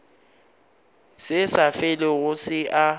se sa felego se a